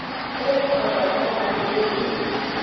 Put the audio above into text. e kgotsa tokomane e e